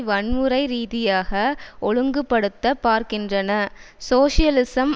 வன்முறைரீதியாக ஒழுங்குபடுத்த பார்க்கின்றன சோசியலிசம்